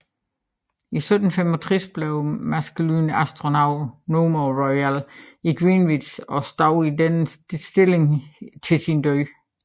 I 1765 blev Maskelyne Astronomer Royal i Greenwich og stod i denne stilling til sin død